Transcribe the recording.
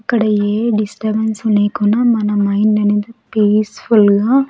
ఇక్కడ ఏ డిస్టర్బెన్స్ లేకున్నా మన మైండ్ అనేది పీస్ఫుల్గా --